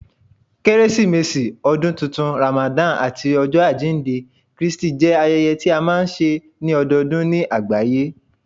Keresimesi, Ọdun Tuntun, Ramadan, ati Ọjọ ajinde Kristi jẹ ayẹyẹ tí a máa ń ṣe ní ọdọọdún ní àgbáyé